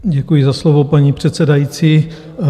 Děkuji za slovo, paní předsedající.